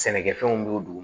Sɛnɛkɛfɛnw b'o dugu